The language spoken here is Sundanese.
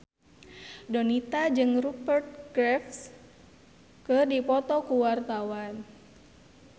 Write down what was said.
Donita jeung Rupert Graves keur dipoto ku wartawan